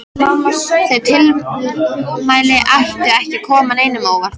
Þau tilmæli ættu ekki að koma neinum á óvart.